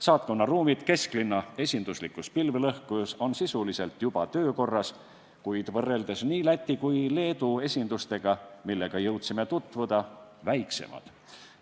Saatkonna ruumid kesklinna esinduslikus pilvelõhkujas on sisuliselt juba töökorras, kuid võrreldes Läti ja Leedu esindustega, millega jõudsime tutvuda, on need väiksemad.